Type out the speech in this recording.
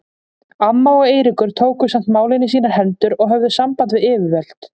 Amma og Eiríkur tóku samt málin í sínar hendur og höfðu samband við yfirvöld.